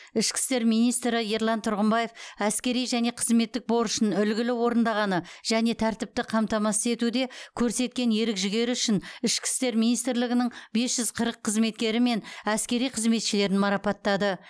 ішкі істер министрі ерлан тұрғымбаев әскери және қызметтік борышын үлгілі орындағаны және тәртіпті қамтамасыз етуде көрсеткен ерік жігері үшін ішкі істер министрлігінің бес жүз қырық қызметкері мен әскери қызметшілерін марапаттады